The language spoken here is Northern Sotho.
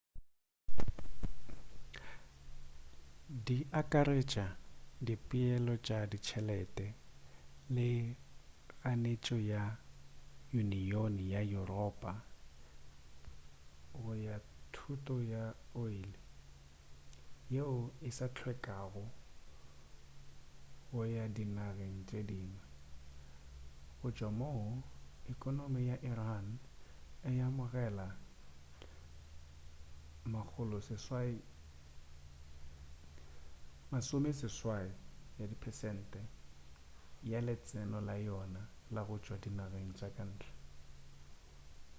di akaretša dipeelo tša ditšhelete le kganetšo ka yuniyoni ya yuropa go ga thoto ya oli yeo e sa hlwekago go ya dinageng tše dingwe go tšwa moo ekonomi ya iran e amogelago 80% ya letseno la yona la go tšwa dinageng tša kantle